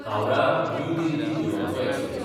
Howrah New Delhi Duronto express